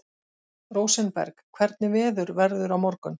Rósenberg, hvernig verður veðrið á morgun?